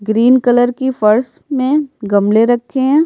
Green colour की फर्स में गमले रखे हैं।